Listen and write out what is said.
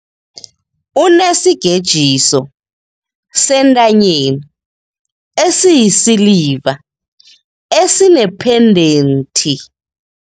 Unesigejiso sentanyeni esiyisiliva esinephendenthi.